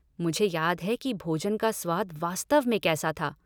मुझे याद है कि भोजन का स्वाद वास्तव में कैसा था।